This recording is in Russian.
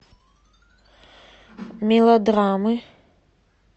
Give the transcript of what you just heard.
мелодрамы